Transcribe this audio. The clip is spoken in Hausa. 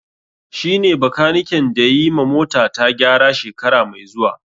Shi ne bakaniken da yayi ma mota ta gyara shekara mai zuwa